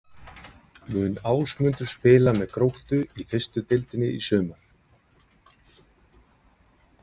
Mun Ásmundur spila með Gróttu í fyrstu deildinni í sumar?